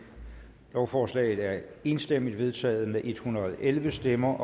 lovforslaget er enstemmigt vedtaget med en hundrede og elleve stemmer